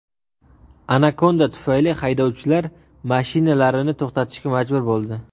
Anakonda tufayli haydovchilar mashinalarini to‘xtatishga majbur bo‘ldi.